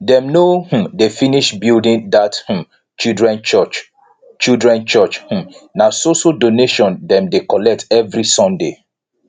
dem no um dey finish building that um children church children church um na so so donations dem dey collect every sunday